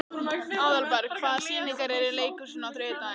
Aðalberg, hvaða sýningar eru í leikhúsinu á þriðjudaginn?